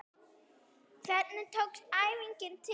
Hvernig tókst æfingin til?